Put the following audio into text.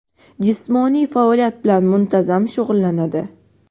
jismoniy faoliyat bilan muntazam shug‘ullanadi.